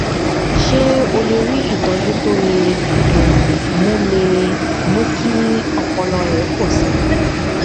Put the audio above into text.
ṣé o lè rí ìtójú tó lè um mú lè um mú kí ọpọlọ rẹ pò sí i